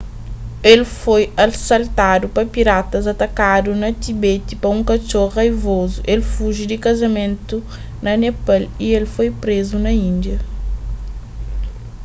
el foi asaltadu pa piratas atakadu na tibete pa un katxor raivozu el fungi di kazamentu na nepal y el foi prézu na índia